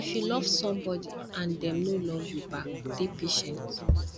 if you love somebody and dem no love you back dey patient